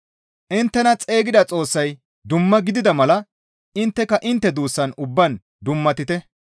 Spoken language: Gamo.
Inttena xeygida Xoossay dumma gidida mala intteka intte duussan ubbaan dummatite.